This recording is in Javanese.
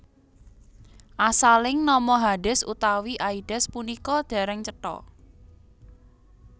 Asaling nama Hades utawi Aides punika dereng cetha